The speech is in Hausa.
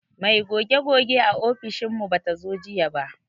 Mai goge goge a ofishin mu bata zo ba jiya.